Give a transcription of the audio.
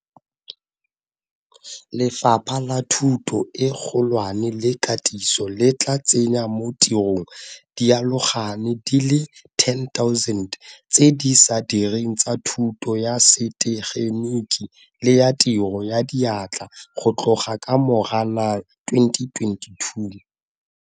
Lefapha la Thuto e Kgolwane le Katiso le tla tsenya mo tirong dialogane di le 10 000 tse di sa direng tsa thuto ya setegeniki le ya tiro ya diatla go tloga ka Moranang 2022.